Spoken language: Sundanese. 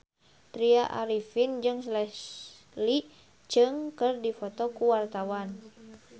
Tya Arifin jeung Leslie Cheung keur dipoto ku wartawan